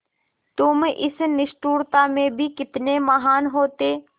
तुम इस निष्ठुरता में भी कितने महान् होते